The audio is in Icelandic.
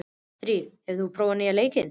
Þyrí, hefur þú prófað nýja leikinn?